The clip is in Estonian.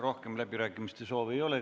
Rohkem läbirääkimiste soovi ei ole.